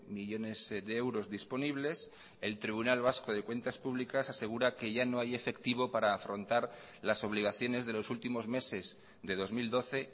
millónes de euros disponibles el tribunal vasco de cuentas públicas asegura que ya no hay efectivo para afrontar las obligaciones de los últimos meses de dos mil doce